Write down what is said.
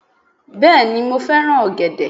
Bẹ́ẹ̀ni mo fẹ́ràn ọ̀gẹ̀dẹ̀